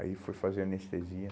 Aí fui fazer anestesia.